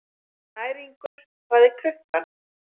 Snæringur, hvað er klukkan?